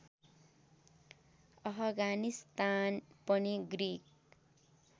अफगानिस्तान पनि ग्रिक